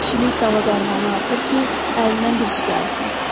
Kişilik dəva dərmanı artır ki, əlindən bir iş gəlsin.